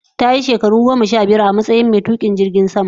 Ta yi shekaru goma sha biyar a matsayin tukin jirgin sama